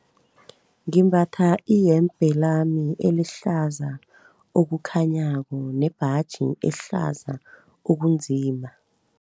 Ngimbatha iyembe lami elihlaza okukhanyako nembaji ehlaza okunzima.